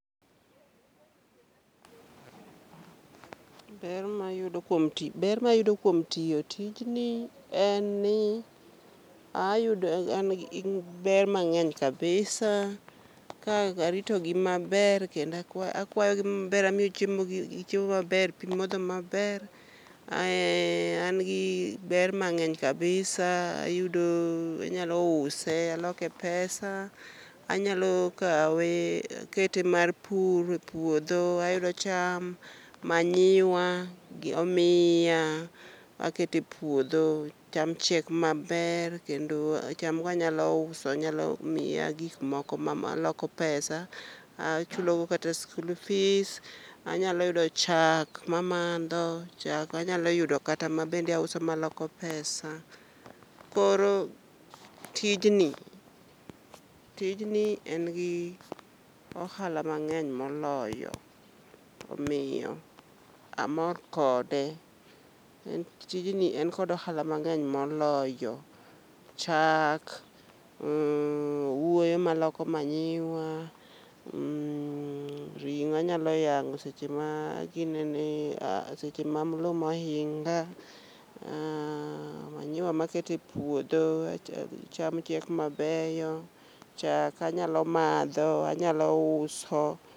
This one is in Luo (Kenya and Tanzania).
Ber mayudo kuom ti, ber mayudo kuom tiyo tijni en ni ayudo an en ber mabg'eny kabisa ka arito gi maber. Kendo akwayogi maber, amiyo chiemo gi chiemo maber pi modho maber. Ae an gi ber mang'eny kabisa, ayudo anyalo use aloke pesa. Anyalo kawe akete mar pur e puodho, ayudo cham,. manyiwa gi omiya akete puodho cham chiek maber. Kendo cham go anyalo uso, nyalo miya gik moko ma aloko pesa, achulo go kata school fees. Anyalo yudo chak ma madho, chak anyalo yudo kata ma bende auso aloko pesa. Koro tijni, tijni en gi ohala mang'eny moloyo, omiyo amor kode. En tijni en kod ohala mang'eny moloyo, chak, owuoyo maloko manyiwa, mh, ring'o anyalo yang'o seche ma a ginene, ah seche ma miluma ohinga. Ah manyiwa ma akete puodho, cham chiek mabeyo. Chak anyalo madho, anyalo uso.